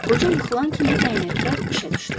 Qoca yıxılan kimi dəyənəklər işə düşdü.